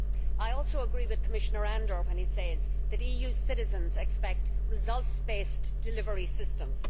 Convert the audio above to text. I also agree with Commissioner Andor when he says that EU citizens expect results based delivery systems.